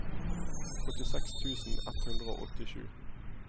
åttiseks tusen ett hundre og åttisju